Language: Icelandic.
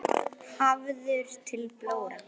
Hafður til blóra?